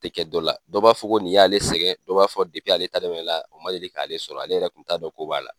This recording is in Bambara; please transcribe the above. Ti kɛ dɔ la, dɔ b'a fɔ ko nin y'ale sɛgɛn, dɔ b'a fɔ ale o ma deli k'ale sɔrɔ, ale yɛrɛ kun t'a dɔn ko b'a la.